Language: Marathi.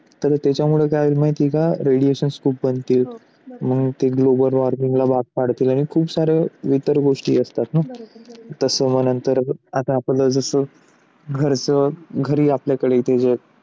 तर त्याच्यामुळे काय होतील माहिती आहे का? radiations पण बनते मग ते global warming ला भाग पाडतील आणि खूप सारे इतर गोष्टी असतात ना तसं म्हणल्यानंतर आता जसा आपला घरचा घरी आपल्याकडे इथेच आहे.